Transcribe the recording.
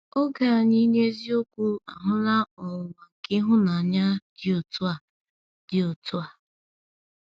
Oge anyị n’eziokwu ahụla ọnwụnwa nke ịhụnanya dị otu a. dị otu a.